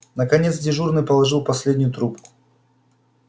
наконец дежурный положил последнюю трубку